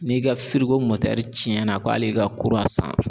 N'i ka cɛnna ko hali i ka kurun san